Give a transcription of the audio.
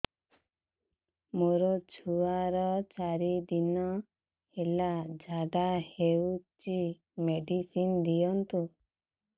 ମୋର ଛୁଆର ଚାରି ଦିନ ହେଲା ଝାଡା ହଉଚି ମେଡିସିନ ଦିଅନ୍ତୁ